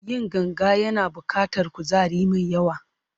Yin ganga yana buƙatar kuzari mai yawa.